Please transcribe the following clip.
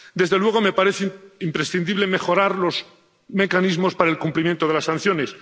Desde luego, me parece imprescindible mejorar los mecanismos para el cumplimiento de las sanciones.